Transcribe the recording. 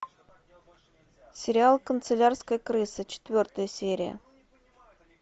сериал канцелярская крыса четвертая серия